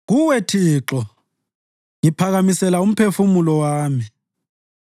Kuwe, Thixo, ngiphakamisela umphefumulo wami.